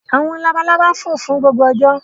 Àwọn labalábá fò fún gbogbo ọjọ́.